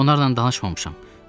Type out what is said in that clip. Onlarla danışmamışam.